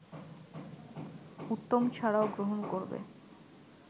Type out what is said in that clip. উত্তম ছাড়াও গ্রহণ করবে